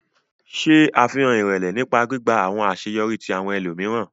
Ṣe afihan irẹlẹ nipa gbigba awọn aṣeyọri ti awọn ẹlomiran.